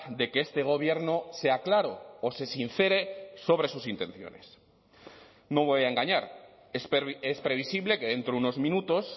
de que este gobierno sea claro o se sincere sobre sus intenciones no voy a engañar es previsible que dentro de unos minutos